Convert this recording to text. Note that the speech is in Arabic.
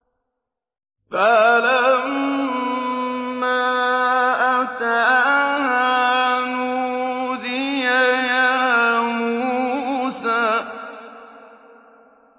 فَلَمَّا أَتَاهَا نُودِيَ يَا مُوسَىٰ